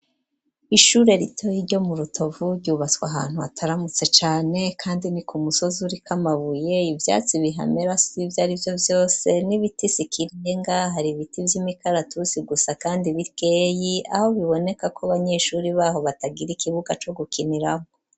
Ishure rito ryo mu Rutovu ryubatswe ahantu hataramutse cane kandi ni ku musozi uriko amabuye ivyatsi bihamera sivyarivyo vyose n'ibiti sikirenga hari ibiti vy'imikaratusi gusa kandi bikeyi aho bibonekako abanyeshuri baho batagira ikibuga co gukiniraho